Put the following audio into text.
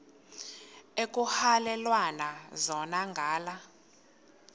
ekuhhalelwana zona ngala